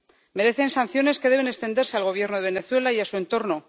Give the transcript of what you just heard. Merecen sanciones que deben extenderse al Gobierno de Venezuela y a su entorno.